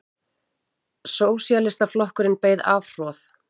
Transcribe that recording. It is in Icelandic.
Sósíalistaflokkurinn beið afhroð